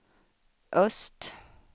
öst